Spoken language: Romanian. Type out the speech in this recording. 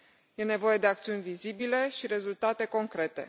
E nevoie de acțiuni vizibile și rezultate concrete.